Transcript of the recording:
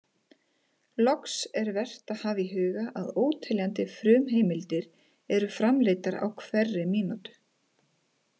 Loks, er vert að hafa í huga að óteljandi frumheimildir eru framleiddar á hverri mínútu.